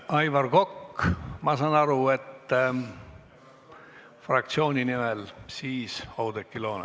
Aivar Kokk, ma saan aru, et fraktsiooni nimel, ja siis Oudekki Loone.